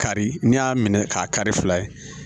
Kari n'i y'a minɛ k'a kari fila ye